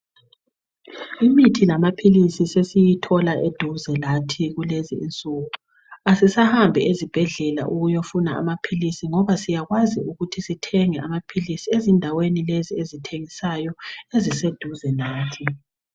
Imithi lamaphisi sesiyithola eduze lathi kulezi insuku asisahambi ezibhedlela ukuyofuna amaphilisi ngoba sisyakwazi ukuthi sithenge amaphilisi ezindaweni lezi ezithengisayo eziseduze lathi.